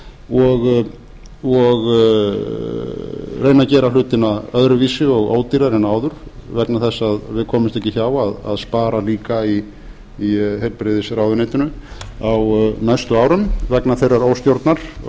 og reyna að gera hlutina öðruvísi og ódýrara en áður vegna þess að við komumst ekki hjá því að spara líka í heilbrigðisráðuneytinu á næstu árum vegna þeirrar óstjórnar og